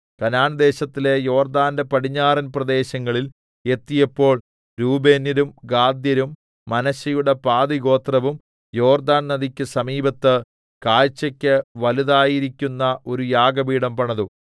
കനാൻദേശത്തിലെ യോർദ്ദാന്റെ പടിഞ്ഞാറന്‍ പ്രദേശങ്ങളിൽ എത്തിയപ്പോൾ രൂബേന്യരും ഗാദ്യരും മനശ്ശെയുടെ പാതിഗോത്രവും യോർദ്ദാന്‍ നദിക്ക് സമീപത്ത് കാഴ്ച്ചക്ക് വലുതായിരിക്കുന്ന ഒരു യാഗപീഠം പണിതു